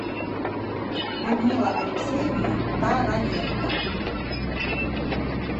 людмила алексеевна тараненко